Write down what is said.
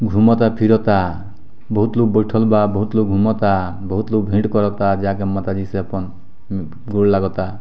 घूमता फिरता बहुत लोग बैठल बा बहुत लोग घूमता बहुत लोग भेंट करता जा के माताजी से अपन गोड़ लगअता।